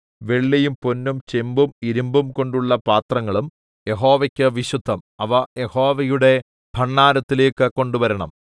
വെള്ളിയും പൊന്നും ചെമ്പും ഇരിമ്പും കൊണ്ടുള്ള പാത്രങ്ങളും യഹോവയ്ക്ക് വിശുദ്ധം അവ യഹോവയുടെ ഭണ്ഡാരത്തിലേക്ക് കൊണ്ടുവരേണം